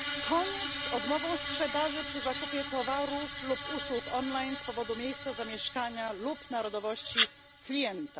Koniec z odmową sprzedaży przy zakupie towarów lub usług online z powodu miejsca zamieszkania lub narodowości klienta.